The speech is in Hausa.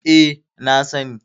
E, na sani.